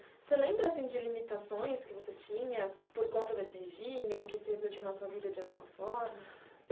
Você lembra de limitações que você tinha por conta desse regime ou que se refletiu na sua vida de alguma forma?